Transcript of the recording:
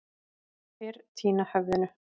Fyrr týna höfðinu.